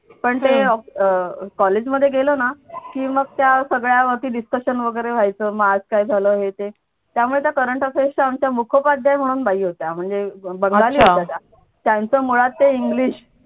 पण ते अं कॉलेज मध्ये गेलो ना की मग त्या सगळ्या वरती discussion वगैरे व्हायच मग आज काय झालं हे ते त्यामुळे त्या current affairs च्या आमच्या मुख्यपध्याय म्हणून बाई होत्या म्हणजे बंगाली होत्या त्या त्यांचं मुळात ते इंग्लिश